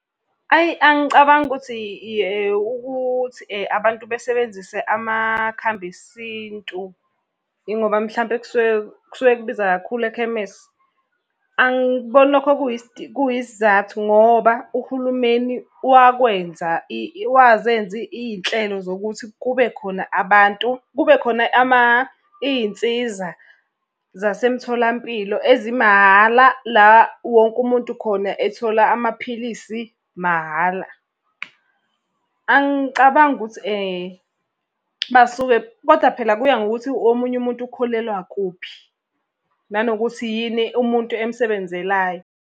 Ayi angicabangi ukuthi ukuthi abantu basebenzise amakhambi esintu. Ingoba mhlampe kusuke kusuke kubiza kakhulu ekhemese. Angikuboni lokho kuyisizathu ngoba uhulumeni wakwenza wazenza iy'nhlelo zokuthi kube khona abantu, kube khona iy'nsiza zasemtholampilo ezimahhala, la wonke umuntu khona ethola amaphilisi mahhala. Angicabangi ukuthi basuke koda phela kuya ngokuthi omunye umuntu ukholelwa kuphi. Nanokuthi yini umuntu emsebenzelayo.